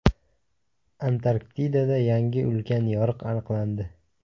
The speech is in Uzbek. Antarktidada yangi ulkan yoriq aniqlandi.